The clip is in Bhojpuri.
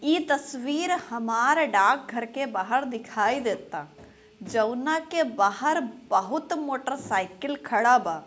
ये तस्वीर हमार डाक घर के बाहर दिखाई देता जोवना के बाहर बहुत मोटर साइकिल खाड़ा बा।